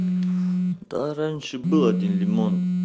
да раньше был один лимон